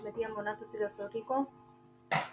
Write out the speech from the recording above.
ਵਧੀਆ ਮੋਨਾ ਤੁਸੀਂ ਦੱਸੋ ਠੀਕ ਹੋ